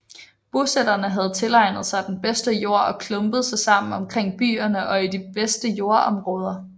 Bosætterne havde tilegnet sig den bedste jord og klumpede sig sammen omkring byerne og i de bedste jordområder